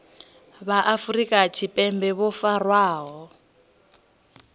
vha afrika tshipembe vho farwaho